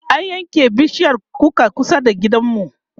an yanke bishiyar kukar kusa da gidanmu